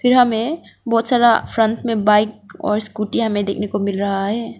फिर हमें बहोत सारा फ्रंट में बाइक और स्कूटी हमें देखने को मिल रहा है।